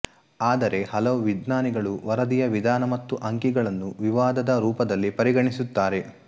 ಆದರೆ ಹಲವು ವಿಜ್ಞಾನಿಗಳು ವರದಿಯ ವಿಧಾನ ಮತ್ತು ಅಂಕಿಗಳನ್ನು ವಿವಾದದ ರೂಪದಲ್ಲಿ ಪರಿಗಣಿಸುತ್ತಾರೆ